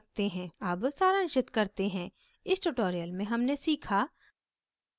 अब सारांशित करते हैं इस tutorial में हमने सीखा